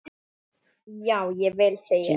Já, ég vil segja eitt!